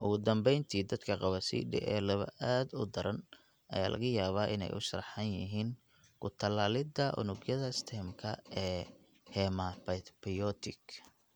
Ugu dambeyntii, dadka qaba CDA laba aad u daran ayaa laga yaabaa inay u sharaxan yihiin ku-tallaalidda unugyada stem-ka ee hematopoietic (HSCT).